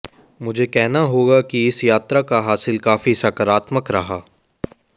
मुझे कहना होगा कि इस यात्रा का हासिल काफी सकारात्मक रहा